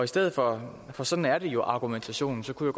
stedet for for sådan er det jo argumentationen kunne